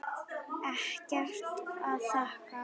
Ekkert að þakka